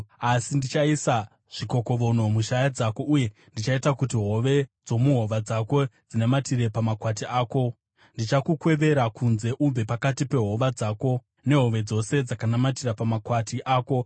Asi ndichaisa zvikokovono mushaya dzako, uye ndichaita kuti hove dzomuhova dzako dzinamatire pamakwati ako. Ndichakukwevera kunze ubve pakati pehova dzako, nehove dzose dzakanamatira pamakwati ako.